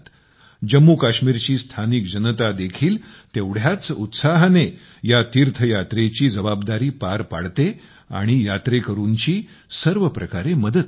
जम्मूकाश्मीरची स्थानिक जनतादेखील तेवढ्याच उत्साहाने या तीर्थयात्रेची जबाबदारी पार पाडते आणि यात्रेकरूंची सर्व प्रकारे मदत करते